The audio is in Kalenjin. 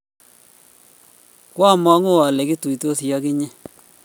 kwa mang'u ale kituitosi ak inye